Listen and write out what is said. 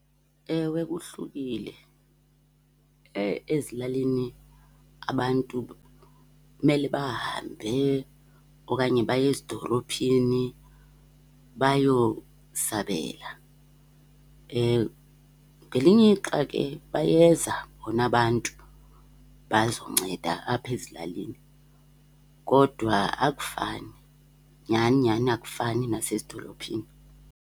Ewe, kuhlukile, ezilalini abantu kumele bahambe okanye baye ezidolophini bayosabela. Ngelinye ixa ke bayeza bona abantu bazonceda apha ezilalini, kodwa akufani, nyani nyani akufani nasezidolophini.